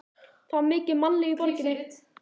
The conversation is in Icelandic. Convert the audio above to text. Það var mikið mannlíf í borginni.